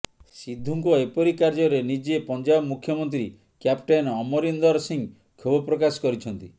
ସିଦ୍ଧୁଙ୍କ ଏପରି କାର୍ଯ୍ୟରେ ନିଜେ ପଞ୍ଜାବ ମୁଖ୍ୟମନ୍ତ୍ରୀ କ୍ୟାପ୍ଟେନ୍ ଅମରିନ୍ଦର ସିଂହ କ୍ଷୋଭ ପ୍ରକାଶ କରିଛନ୍ତି